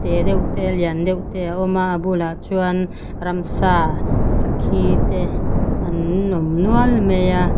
tê deuh te a lian deuh te a awm a a bulah chuan ramsa sakhi te an awm nual mai a.